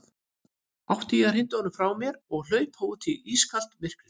Átti ég að hrinda honum frá mér og hlaupa út í ískalt myrkrið?